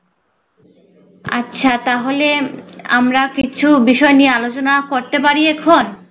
আচ্ছা তাহলে উম আমরা কিছু বিষয় নিয়ে আলোচনা করতে পারি এখন?